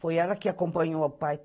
Foi ela que acompanhou o pai.